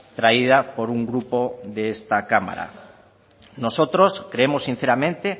traída por un grupo de esta cámara nosotros creemos sinceramente